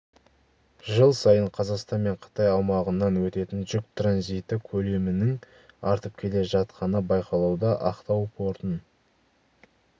жыл сайын қазақстан мен қытай аумағынан өтетін жүк транзиті көлемінің артып келе жатқаны байқалуда ақтау портын